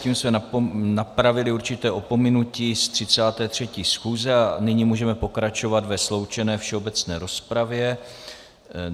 Tím jsme napravili určité opominutí z 33. schůze a nyní můžeme pokračovat ve sloučené všeobecné rozpravě.